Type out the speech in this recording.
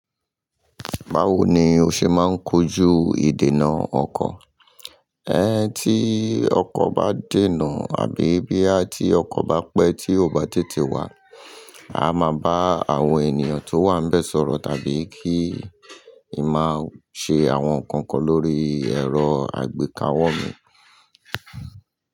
Báwo ni o ṣe máa ń kojú ìdènà ọkọ̀? Ẹn ti ọkọ̀ bá dènà àbí bí àti ọkọ̀ bá pẹ́ tí ó bá tètè wá, a máa bá àwọn ènìyàn tó wà ń bẹ́ sọ̀rọ̀ tàbí kí i máa ṣe àwọn nǹkan kan lórí ẹ̀rọ àgbékawó mi.